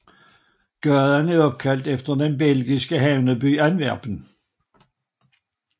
Gaden er opkaldt efter den belgiske havneby Antwerpen